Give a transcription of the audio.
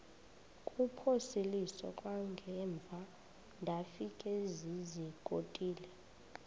kuphosiliso kwangaemva ndafikezizikotile